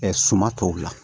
suman tɔw la